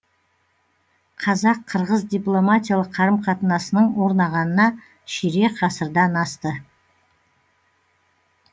қазақ қырғыз дипломатиялық қарым қатынасының орнағанына ширек ғасырдан асты